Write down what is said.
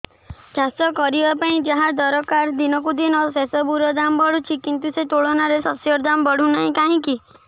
ଚାଷ କରିବା ପାଇଁ ଯାହା ଦରକାର ଦିନକୁ ଦିନ ସେସବୁ ର ଦାମ୍ ବଢୁଛି କିନ୍ତୁ ସେ ତୁଳନାରେ ଶସ୍ୟର ଦାମ୍ ବଢୁନାହିଁ କାହିଁକି